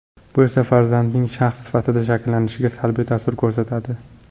Bu esa farzandning shaxs sifatida shakllanishiga salbiy ta’sir ko‘rsatadi.